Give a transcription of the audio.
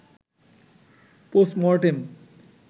postmortem